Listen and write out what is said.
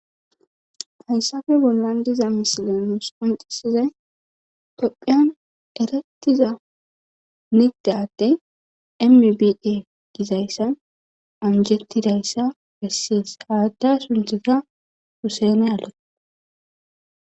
hayssafe bollan diza misila nuus qonccisizay tophiyan erettiza nigda atde mibia gizayssa anjettidayssa besses. haadda suntheta pusene alo